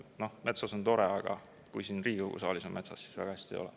Noh, metsas on tore, aga kui siin Riigikogu saalis on midagi metsas, siis väga hästi ei ole.